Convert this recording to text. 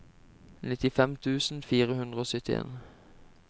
nittifem tusen fire hundre og syttien